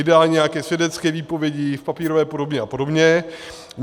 Ideálně nějaké svědecké výpovědi v papírové podobě a podobně.